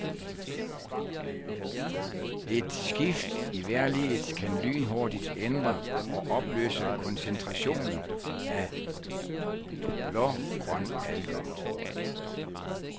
Et skift i vejrliget kan lynhurtigt ændre og opløse koncentrationen af blågrønalger.